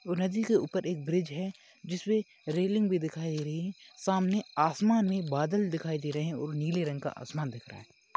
नदी के उपर एक ब्रिज है। जिसमें रेलिंग भी दिखाई दे रही है। सामने आसमान में बादल दिखाई दे रहे है और निले रंग का आसमान दिख रहा है।